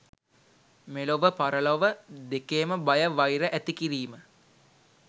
මෙලොව පරලොව දෙකේම බය වෛර ඇතිකිරීම